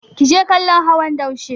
Ki je kallon hawan daushe!